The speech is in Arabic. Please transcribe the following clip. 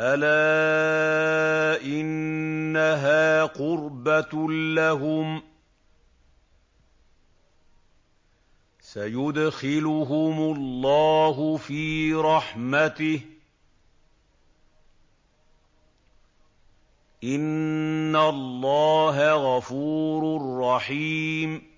أَلَا إِنَّهَا قُرْبَةٌ لَّهُمْ ۚ سَيُدْخِلُهُمُ اللَّهُ فِي رَحْمَتِهِ ۗ إِنَّ اللَّهَ غَفُورٌ رَّحِيمٌ